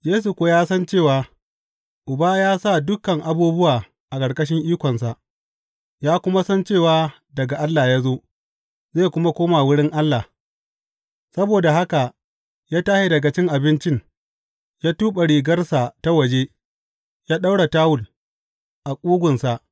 Yesu kuwa ya san cewa, Uba ya sa dukan abubuwa a ƙarƙashin ikonsa, ya kuma san cewa daga Allah ya zo, zai kuma koma wurin Allah; saboda haka ya tashi daga cin abincin, ya tuɓe rigarsa ta waje, ya ɗaura tawul a ƙugunsa.